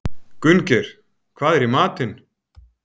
Gunngeir, hvað er í matinn?